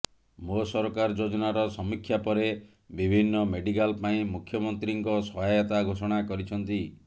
ମୋ ସରକାର ଯୋଜନାର ସମୀକ୍ଷା ପରେ ବିଭିନ୍ନ ମେଡିକାଲ ପାଇଁ ମୁଖ୍ୟମନ୍ତ୍ରୀଙ୍କ ସହାୟତା ଘୋଷଣା କରିଛନ୍ତି